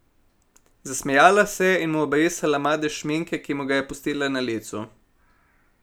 Zasmejala se je in mu obrisala madež šminke, ki mu ga je pustila na licu.